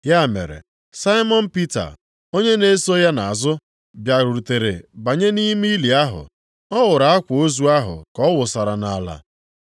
Ya mere Saimọn Pita, onye na-eso ya nʼazụ bịarutere banye nʼime ili ahụ. Ọ hụrụ akwa ozu ahụ ka ọ wụsara nʼala,